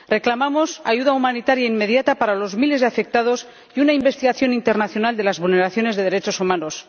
Reclamamos ayuda humanitaria inmediata para los miles de afectados y una investigación internacional de las vulneraciones de los derechos humanos.